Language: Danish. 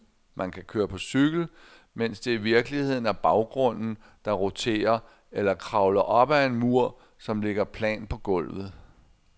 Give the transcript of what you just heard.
Man kan køre på cykel, mens det i virkeligheden er baggrunden, der roterer, eller kravle op ad en mur, som ligger plant på gulvet.